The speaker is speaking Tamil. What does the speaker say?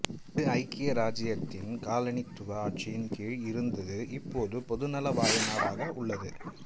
இது ஐக்கிய இராச்சியத்தின் காலனித்துவ ஆட்சியின் கீழ் இருந்து இப்போது பொதுநலவாய நாடாக உள்ளது